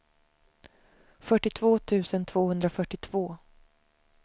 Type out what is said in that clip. fyrtiotvå tusen tvåhundrafyrtiotvå